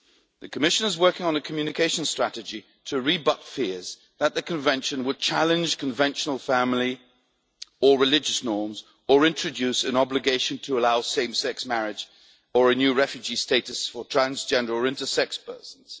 The Commission is working on a communication strategy to rebut fears that the Convention would challenge conventional family or religious norms or introduce an obligation to allow same sex marriage or a new refugee status for transgender or intersex persons.